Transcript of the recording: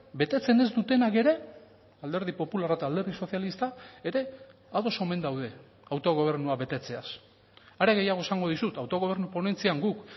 betetzen ez dutenak ere alderdi popularra eta alderdi sozialista ere ados omen daude autogobernua betetzeaz are gehiago esango dizut autogobernu ponentzian guk